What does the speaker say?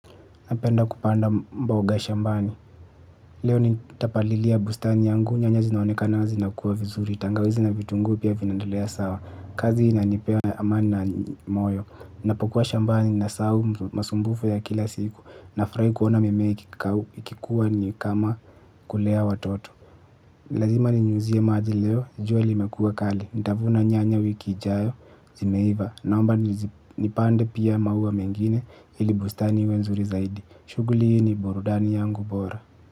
Napenda kupanda mbaoga shambani. Leo nitapalilia bustani yangu. Nyanya zinaonekana zinakuwa vizuri. Tangawizi na vitunguu pia vinaendelea sawa. Kazi inanipea amani na moyo. Ninapokuwa shambani nasahau masumbufu ya kila siku. Nafurahi kuona mimei ikikuwa ni kama kulea watoto. Lazima ni nyuzia maazi leo. Juali limekua kali. Ntavuna nyanya wiki ijayo. Zimeiva. Naomba nipande pia maua mengine. Ili bustani iwe nzuri zaidi. Shughuli hii ni burudani yangu bora.